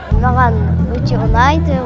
маған өте ұнайды